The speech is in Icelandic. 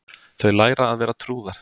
Þau læra að vera trúðar